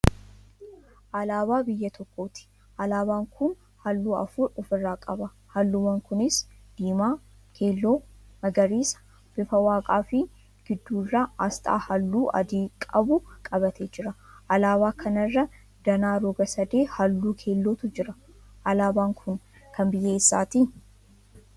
Alaabaa biyya tokkooti. Alaabaan kun halluu afur ofirraa qaba; halluuwwan kunis: diimaa, keelloo, magariisa, bifa waaqaa fi gidduu irraa astaa halluu adii qabu qabatee jira. Alaabaa kana irra danaa roga sadee halluu keellootu jira. Alaabaa kun kan biyya eessaati?